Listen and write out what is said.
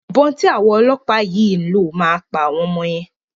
Ìbọn tí àwọn ọlọ́pàá yìn ló máa pa ọmọ yẹn.